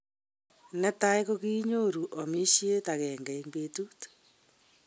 Ne tai kokinyoru amishet agenge eng betut.